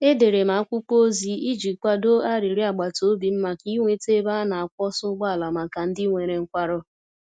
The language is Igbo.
Edere m akwụkwọ ozi iji kwado arịrịọ agbata obi m maka inweta ebe a na-akwọsa ụgbọala maka ndị nwere nkwarụ.